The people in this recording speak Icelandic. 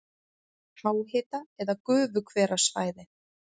Háhita- eða gufuhverasvæði